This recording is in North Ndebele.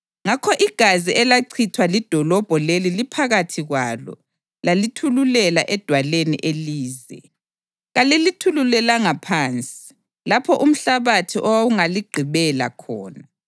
Ngakho igazi elachithwa lidolobho leli liphakathi kwalo: lalithululela edwaleni elize; kalilithululelanga phansi lapho umhlabathi owawungaligqibela khona.